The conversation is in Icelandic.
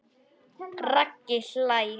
Raggi hlær.